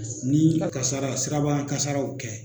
Ni a kasara sirabakankasaraw kɛ